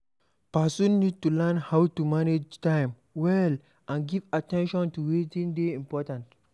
Person need to learn how to manage time well and give at ten tion to wetin dey important